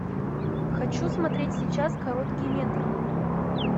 хочу смотреть сейчас короткий метр